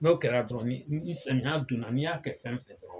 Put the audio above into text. N'o kɛra dɔrɔn ni ni samiya donna n'i y'a kɛ fɛn fɛn kɔrɔ